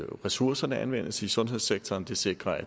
ressourcerne anvendes i sundhedssektoren det sikrer at